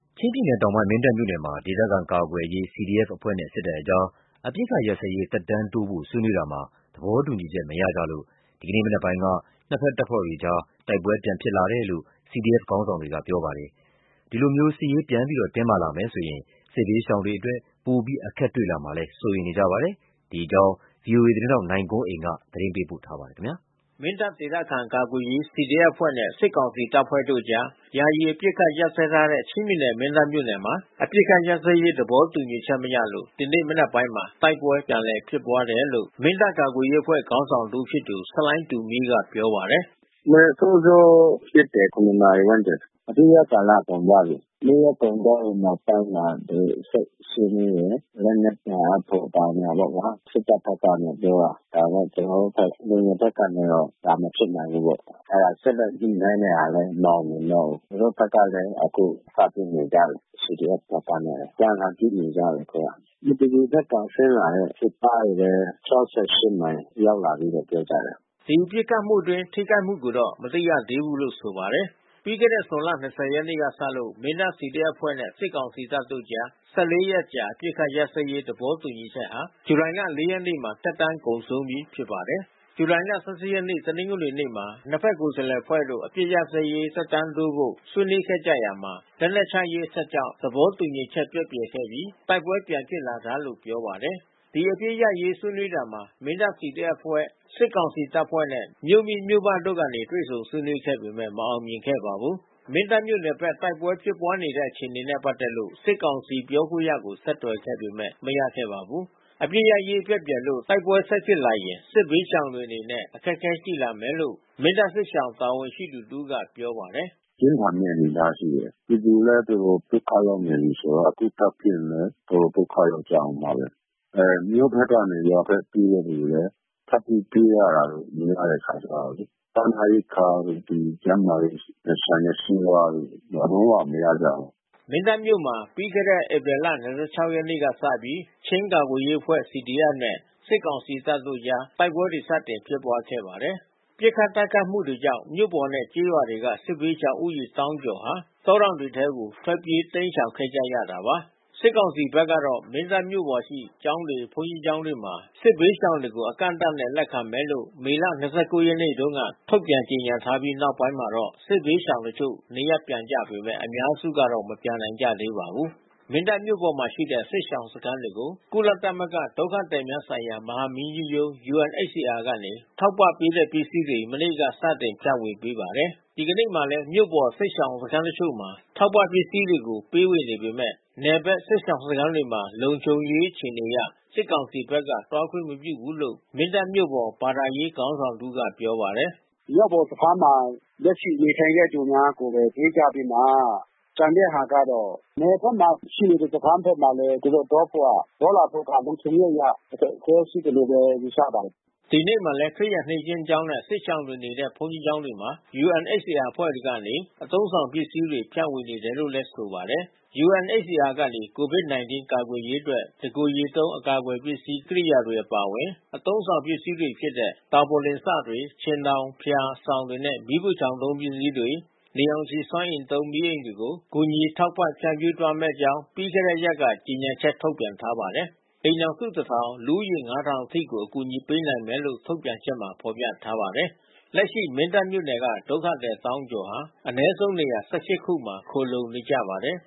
ချင်းပြည်နယ်တောင်ပိုင်း၊ မင်းတပ်မြို့နယ်မှာ ဒေသခံကာကွယ်ရေးCDFအဖွဲ့နဲ့စစ်ကောင်စီတပ်ဖွဲ့တို့အကြား အပစ် ခတ်ရပ်စဲရေးဆွေးနွေးရာမှာ သဘောတူညီချက်မရလို့ ဒီကနေ့မနက်ပိုင်းက နှစ်ဖက်တပ်ဖွဲ့အကြား တိုက်ပွဲတဖန် စတင်ဖြစ်ပွါးလာတယ်လို့ CDFခေါင်းဆောင်တွေက ပြောပါတယ်။ ဒီလိုစစ်ရေးတင်းမာလာမယ်ဆိုရင် စစ်ဘေး ရှောင်တွေအရေး စိုးရိမ်စရာရှိတယ်လို့လဲဆိုပါတယ်။ ဗွီအိုအေသတင်းထောက်နိုင်ကွန်းအိန်ကနေ သတင်း ပေးပို့ထားပါတယ်။ မင်းတပ်ဒေသခံကာကွယ်ရေးCDFအဖွဲ့နဲ့စစ်ကောင်စီတပ်ဖွဲ့တို့အကြား ယာယီအပစ်အခတ်ရပ်စဲထားတဲ့ ချင်းပြည် နယ်မင်းတပ်မြို့နယ်မှာ အပစ်ခတ်ရပ်စဲရေးသဘောတူညီချက်မရလို့ ဒီနေ့မနက်ပိုင်းမှာ တိုက်ပွဲ ပြန်လည်ဖြစ်ပွါးတယ်လို့ မင်းတပ်ကာကွယ်ရေးအဖွဲ့ခေါင်းဆောင်တဦးဖြစ်သူ ဆလိုင်တူမီးကပြောပါတယ်။ "ရွှေအောင်သာဘက်မှာတော့ပြန်ပစ်နေကြပြီ။ မင်းတပ်နယ်အပိုင်ပေါ့။ ဒီမနက်စောစောပစ်တယ်။ (၇)နာရီဝန်းကျင်။ အပစ်ရပ်ကာလကုန်သွားပြီး။ နေ့ရက်ကုန်သွားပြီးနောက်ပိုင်းမှာ ကျွန်တော်တို့ဆက်ဆွေးနွေးတယ်။ လက်နက်ပြန် အပ်ဖို့ဘာညာပေါ့ဗျာ။ စစ်တပ်ဘက်ကနေပြောတာ။ ဒါပေမဲ့ ကျွန်တော်တို့ဘက် လူငယ်ဘက်ကနေပြီး ဒါမဖြစ်နိုင် ဘူးပေါ့။ အဲဒါ ဆက်လက်ညှိနှိုင်းတဲ့ဟာလဲ မအောင်မြင်တော့ဘူး။ သူတို့ဘက်ကလဲ အခုစပစ်နေကြပြီး။ CDFဘက် ကနဲ့အပြန်အလှန်ပစ်နေကြပြီ အခုက။ မတူပီဘက်ကဆင်းလာတဲ့စစ်ကားတွေလဲ (၆၈)မိုင်ရောက်လာ ကြပြီးပြော ကြတယ်။" ဒီပစ်ခတ်တိုက်ခိုက်မှုအတွင်းထိခိုက်မှုကိုတော့မသိရသေးဘူးလို့ဆိုပါတယ်။ ပြီးခဲ့တဲ့ ဇွန်လ ၂၀ ရက်နေ့ကစလို့ မင်းတပ် CDF-အဖွဲ့ နဲ့စစ်ကောင်စီတပ်တို့ကြား (၁၄)ရက်အကြာ အပစ်ခတ်ရပ် စဲရေး သဘောတူညီချက်ဟာ ဇူလိုင်လ(၄)ရက်နေ့မှာ သက်တမ်းကုန်ဆုံးပြီ ဖြစ်ပါတယ်။ ဇူလိုင်(၁၈)ရက် တနင်္ဂနွေနေ့မှာ နှစ်ဖက်ကိုယ်စားလှယ်အဖွဲ့တို့ အပစ်ခတ်ရပ်စဲရေး သက်တမ်းတိုးဖို့ ဆွေးနွေးခဲ့ ရာမှာ လက်နက်ချရေးအချက်ကြောင့် သဘောတူညီချက် ပျက်ပြယ်ခဲ့ပြီး တိုက်ပွဲပြန်ဖြစ်လာတာလို့ပြောပါတယ်။ ဒီအပစ်ရပ်စဲရေးဆွေးနွေးတာမှာ မင်းတပ် CDF-အဖွဲ့ စစ်ကောင်စီတပ်ဖွဲ့နဲ့ မြို့မိမြို့ဖတို့ကနေ တွေ့ဆုံဆွေးနွေးခဲ့ပေမဲ့ မအောင်မြင်ခဲ့ပါဘူး။ မင်းတပ်မြို့နယ်ဘက်တိုက်ပွဲဖြစ်ပွါးနေတဲ့အခြေအနေနဲ့ပက်သက်လို့ စစ်ကောင်စီပြောခွင့်ရကို ဆက်သွယ်ခဲ့ပေမဲ့ မရခဲ့ပါဘူး။ အပစ်ရပ်စဲရေးပျက်ပြယ်လို့တိုက်ပွဲဆက်ဖြစ်လာရင်စစ်ဘေးရှောင်တွေအနေနဲ့ အခက်ခဲရှိလာမယ်လို့ မင်းတပ် စစ်ရှောင်စခန်းတာဝန်ရှိသူတဦးကပြောပါတယ်။ "ပြင်းထန်မဲ့အနေအထားရှိတယ်။ ပြည်သူလဲတော်တော်ဒုက္ခရောက်နေပြီးဆိုတော့ အခုထပ်ဖြစ်ရင် တော်တော်ဒုက္ခ ရောက်ကြမယ်။ မြို့ဘက်ကနေ ရွာဘက်ပြေးတဲ့သူတွေလဲ ထပ်ပြီးတိုးလာတာ များတဲ့အခါကျတော့လေ စားနပ်ရိက္ခာ တို့ ဒီကျန်းမာရေးနဲ့ဆိုင်တဲ့ဆေးဝါးတို့ လုံးဝမရကြဘူး။" မင်းတပ်မြို့မှာ ပြီးခဲ့တဲ့ဧပြီလ ၂၆ ရက်နေ့လောက်ကစပြီး ချင်းကာကွယ်ရေးအဖွဲ့ (CDF)နဲ့ စစ်ကောင်စီတပ်တို့ အကြား တိုက်ပွဲတွေစတင်ဖြစ်ပွားခဲ့ပါတယ်။ ပစ်ခတ်တိုက်ခိုက်မှုတွေကြောင့် မြို့ပေါ်နဲ့ကျေးရွာတွေက စစ်ဘေးရှောင်ဦးရေသောင်းကျော်ဟာ တောတောင် တွေထဲကို ထွက်ပြေးတိမ်းရှောင်ခဲ့ကြရတာပါ။ စစ်ကောင်စီဘက်ကတော့ မင်းတပ်မြို့ပေါ်ရှိ ကျောင်းတွေ၊ဘုန်းကြီးကျောင်းတွေမှာ စစ်ဘေးရှောင်တွေကို အကန့် အသတ်နဲ့ လက်ခံမယ်လို့မေလ(၂၉)ရက်နေ့က ထုတ်ပြန်ကြေညာထားပြီး နောက်ပိုင်းမှာတော့ စစ်ဘေးရှောင် တချို့ နေရပ်ပြန်ကြပေမဲ့ အများစုကတော့ မပြန်နိုင် ကြသေးပါဘူး။ မင်းတပ်မြို့ပေါ်မှာရှိတဲ့ စစ်ရှောင်စခန်းတွေကို ကုလသမဂ္ဂ ဒုက္ခသည်များဆိုင်ရာ မဟာမင်းကြီးရုံး UNHCR က ထောက်ပံ့ပေးတဲ့ ပစ္စည်းတွေ မနေ့ကစတင်ဖြန့်ဝေပေးပါတယ်။ ဒီကနေ့မှာလဲ မြို့ပေါ်ကစစ်ရှောင်စခန်းတချို့မှာ ထောက်ပံ့ပစ္စည်းတွေ ပေးဝေနေပေမဲ့ နယ်ဘက်စစ်ရှောင်စခန်းတွေမှာ လုံခြုံရေးအခြေအနေအရ စစ်ကောင်စီဘက်ကသွားခွင့်မပြုဘူးလို့ မင်းတပ်မြို့ပေါ်ဘာသာရေး ခေါင်း ဆောင်တဦးကပြောပါတယ်။ " မြို့ပေါ်စခန်းမှာ လက်ရှိနေထိုင်တဲ့သူများကိုဘဲ ပေးကြပြီးမှ ကျန်တဲ့ဟာကျတော့ နယ်ဘက်မှာရှိနေတဲ့စခန်း ဘက်မှာလဲ သူတို့သွားဖို့က သွားလာဖို့ကလုံခြုံရေးအရ အခက်ခဲရှိတယ်လို့ဘဲ ယူဆပါတယ်။" ဒီနေ့မှာလဲ ခရစ်ယာန်နှစ်ခြင်းကျောင်းနဲ့ စစ်ရှောင်တွေနေတဲ့ဘုန်းကြီးကျောင်းတွေမှာ UNHCR အဖွဲ့ကနေ အသုံးဆောင်ပစ္စည်းတွေ ဖြန့်ဝေနေတယ်လို့ဆိုပါတယ်။ UNHCR ကနေ COVID-19 ကာကွယ်ရေးအတွက် တကိုယ်ရေသုံး အကာအကွယ်ပစ္စည်းကိရိယာတွေ အပါအဝင်၊ အသုံးဆောင်ပစ္စည်းတွေဖြစ်တဲ့ တာပေါ်လင်စတွေ၊ ခြင်ထောင်၊ ဖျာ၊ စောင်တွေနဲ့၊ မီးဖိုချောင်သုံးပစ္စည်းတွေ၊ နေရောင်ခြည်စွမ်းအင်သုံး မီးအိမ်တွေကို ကူညီ ထောက်ပံ့ဖြန့်ဖြူးသွားမယ့်အကြောင်း ပြီးခဲ့တဲံရက်က ကြေညာချက် ထုတ်ပြန်ထားပါတယ်။ အိမ်ထောင်စု ၁,၀၀၀၊ လူဦးရေ ၅,၀၀၀ အထိကို အကူအညီပေးနိုင်မယ်လို့ ထုတ်ပြန်ချက်မှာ ဖော်ပြထားပါတယ်။ လက်ရှိ မင်းတပ်မြို့နယ်က ဒုက္ခသည် သောင်းကျော်ဟာ အနည်းဆုံးနေရာ ၁၈ ခုမှာ ခိုလှုံနေကြပါတယ်